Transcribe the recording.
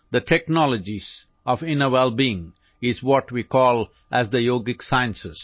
The technologies of inner wellbeing are what we call as the yogik sciences